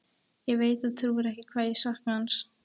Ég veit þú trúir ekki hvað ég sakna hans.